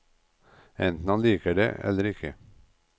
Enten han liker det, eller ikke.